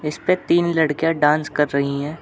इसपे तीन लड़िकयाँ डांस कर रही है।